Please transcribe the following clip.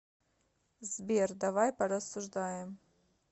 сбер давай порассуждаем